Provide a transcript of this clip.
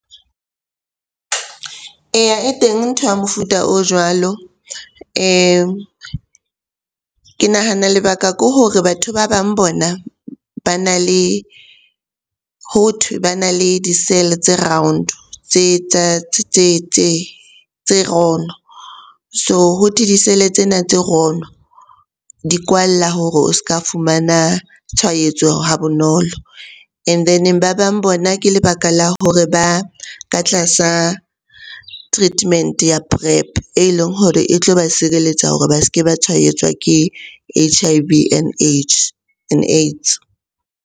Eya, e teng ntho ya mofuta o jwalo. Ke nahana lebaka ke hore batho ba bang bona bana le, hothwe bana le di-cell-e tse round, tse rono. So hothwe di-cell-e tsena tse rono di kwalla hore o s'ka fumana tshwaetso ha bonolo, and then ba bang bona ke lebaka la hore ba ka tlasa treatment ya PrEp e leng hore e tlo ba sireletsa hore ba se ke ba tshwaetswa ke H_I_V and AIDS.